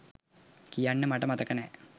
කියන්න මට මතක නෑ.